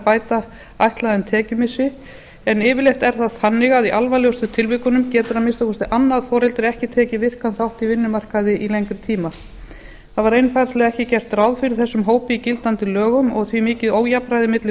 bæta þeim ætlaðan tekjumissi en yfirleitt er það þannig að í alvarlegustu tilvikunum getur að minnsta kosti annað foreldrið ekki tekið virkan þátt í vinnumarkaði í lengri tíma það var einfaldlega ekki gert ráð fyrir þessum hópi í gildandi lögum og því mikið ójafnræði milli